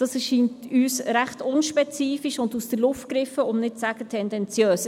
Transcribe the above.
Dies ist für uns recht unspezifisch und aus der Luft gegriffen, um nicht zu sagen, tendenziös.